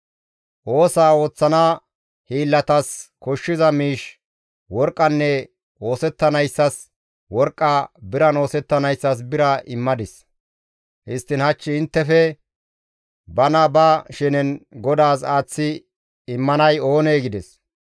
Oosaa ooththana hiillatas koshshiza miish, worqqan oosettanayssas worqqa, biran oosettanayssas bira immadis; histtiin hach inttefe bana ba shenen GODAAS aaththi immanay oonee?» gides.